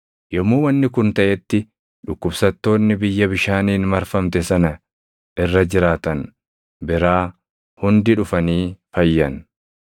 Yommuu wanni kun taʼetti dhukkubsattoonni biyya bishaaniin marfamte sana irra jiraatan biraa hundi dhufanii fayyan.